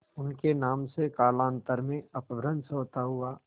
उनके नाम से कालांतर में अपभ्रंश होता हुआ